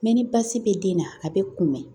ni baasi bɛ den na a bɛ kunbɛn